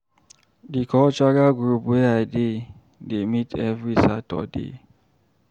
Di cultural group wey I dey dey meet every Saturday.